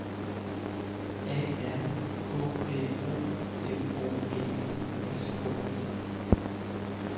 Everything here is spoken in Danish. A R K Æ O L O G I S K E